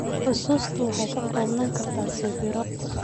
Xusuustu waxay ka koobnaan kartaa sawirro.